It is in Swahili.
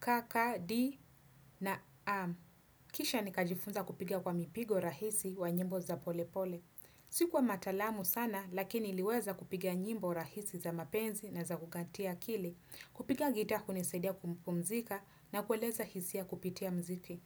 ka ka di na am. Kisha nikajifunza kupiga kwa mipigo rahisi wa nyimbo za pole pole. Sikuwa matalamu sana, lakini niliweza kupiga nyimbo rahisi za mapenzi na za kukatia akili. Kupiga gitaa hunisedia kupumzika na kueleza hisia kupitia mziki.